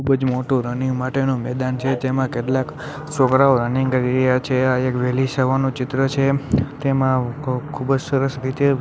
ખુબ જ મોટુ રનિંગ માટેનુ મેદાન છે જેમા કેટલાક છોકરાઓ રનિંગ કરી રહ્યા છે આ એક વેહલી સવારનું ચિત્ર છે તેમા ખ ખુબ જ સરસ રીતે--